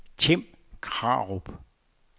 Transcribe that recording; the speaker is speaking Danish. Tim Krarup